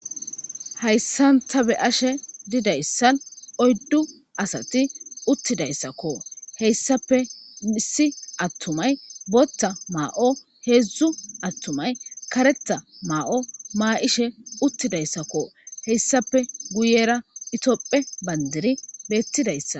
hayssanta be ashe didayssan oyddu asati uttidayssakko heyssape misi attumay botta maa7o heedzdzu attumay karetha maa7o maa7ishe uttidayssakko heyssape guyera itopphe bandiri beettidayssa